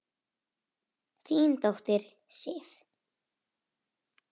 Þín dóttir, Sif.